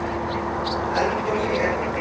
Eldgos í Ekvador